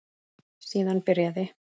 Síðan byrjaði